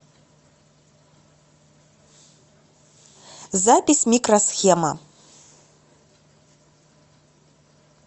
запись микро схема